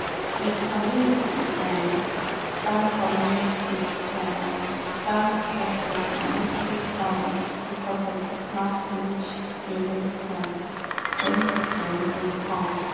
the community um bank community um bank success na mostly um because of the smart village savings plan wey dem bring come.